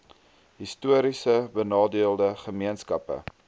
histories benadeelde gemeenskappe